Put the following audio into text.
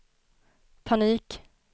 panik